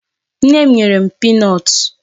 Nne m nyere m peanut.